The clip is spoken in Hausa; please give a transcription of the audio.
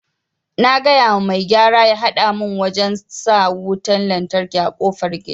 Na gayawa mai gyara ya hada mun wajen sa wutan lantraki a kofar gida